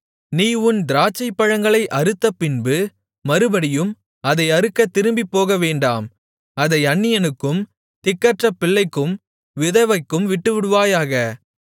நீ உன் திராட்சைப்பழங்களை அறுத்த பின்பு மறுபடியும் அதை அறுக்கத் திரும்பிப்போகவேண்டாம் அதை அந்நியனுக்கும் திக்கற்ற பிள்ளைக்கும் விதவைக்கும் விட்டுவிடுவாயாக